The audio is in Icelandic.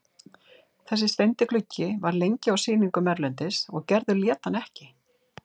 Þessi steindi gluggi var lengi á sýningum erlendis og Gerður lét hann ekki.